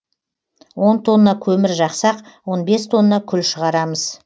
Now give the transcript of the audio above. он тонна көмір жақсақ он бес тонна күл шығарамыз